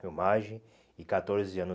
filmagem e catorze anos